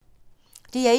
DR1